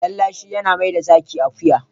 Lallashi yana maida zaki akuya.